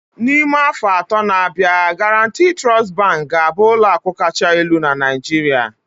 N'ime afọ atọ na-abịa, Guaranty Trust Bank ga-abụ ụlọ akụ kacha elu na Naijiria